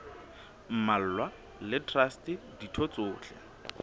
mmalwa le traste ditho tsohle